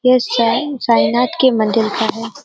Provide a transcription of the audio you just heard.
यह साँईं साईंनाथ के मंदिर का है।